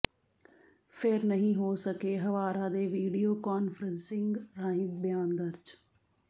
ਫਿਰ ਨਹੀਂ ਹੋ ਸਕੇ ਹਵਾਰਾ ਦੇ ਵੀਡੀਓ ਕਾਨਫਰੰਸਿੰਗ ਰਾਹੀਂ ਬਿਆਨ ਦਰਜ